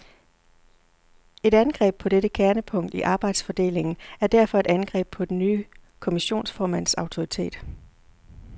Et angreb på dette kernepunkt i arbejdsfordelingen er derfor et angreb på den nye kommissionsformands autoritet.